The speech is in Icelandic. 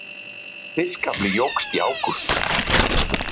Fiskafli jókst í ágúst